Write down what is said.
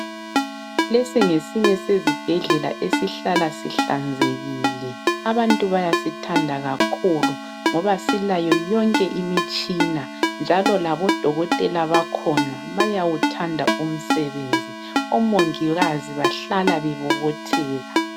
Lesi ngesinye sezibhedlela esihlala sihlanzekile abantu bayasithanda kakhulu, ngoba silayo yonke imitshina njalo labo dokotela bakhona bayawuthanda umsebenzi, omongikazi bahlala bebobotheka.